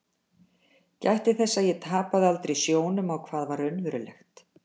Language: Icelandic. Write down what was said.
Gætti þess að ég tapaði aldrei sjónum á hvað var raunverulegt.